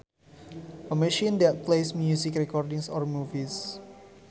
A machine that plays music recordings or movies